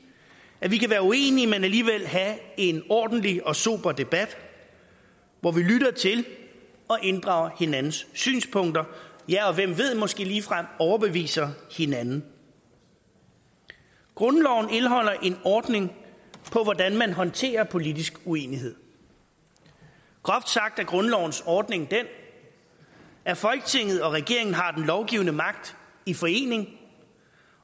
at vi kan være uenige men alligevel have en ordentlig og sober debat hvor vi lytter til og inddrager hinandens synspunkter og hvem ved måske ligefrem overbeviser hinanden grundloven indeholder en ordning for hvordan man håndterer politisk uenighed groft sagt er grundlovens ordning den at folketinget og regeringen har den lovgivende magt i forening